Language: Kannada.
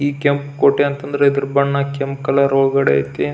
ಈ ಕೆಂಪು ಕೋಟೆ ಅಂತಂದ್ರೆ ಇದರ ಬಣ್ಣ ಕೆಂಪು ಕಲರ್ ಹೊರಗಡೆ ಐತಿ.